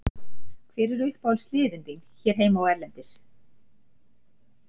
Hver eru uppáhaldslið þín hér heima og erlendis?